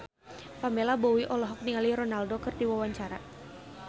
Pamela Bowie olohok ningali Ronaldo keur diwawancara